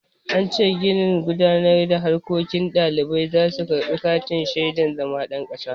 An ce a ginin gudanar da harkoki ɗalibai za su karɓi katin shaidan zama ɗan makaranta.